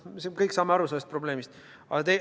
Me kõik saame aru sellest probleemist.